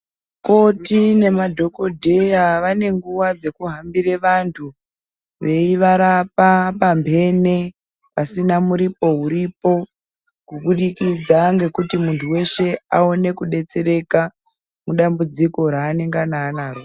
Koti nemadhogodheya vanenguwa dzekuhambire vantu veivarapa pambene pasina muripo uripo kubudikidza ngekuti munhu weshe aone kudetsereka mudambudziko raanengani anaro.